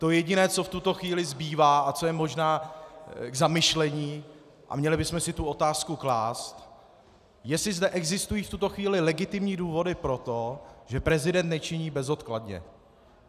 To jediné, co v tuto chvíli zbývá a co je možná k zamyšlení, a měli bychom si tu otázku klást, jestli zde existují v tuto chvíli legitimní důvody pro to, že prezident nečiní bezodkladně.